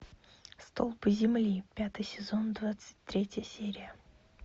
столпы земли пятый сезон двадцать третья серия